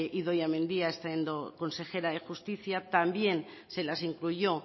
idoia mendia siendo consejera de justicia también se las incluyó